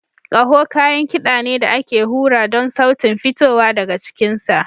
Kaho kayan kiɗa ne da ake hura don sautin fitowa daga cikinsa.